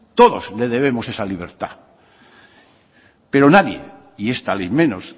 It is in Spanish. todos le debemos esa libertad pero nadie y esta ley menos